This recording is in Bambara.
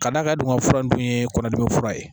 K'a d'a ka doŋo fura dun ye kɔnɔdimi fura ye